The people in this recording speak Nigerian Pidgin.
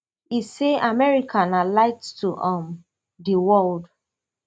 e say america na light to um di world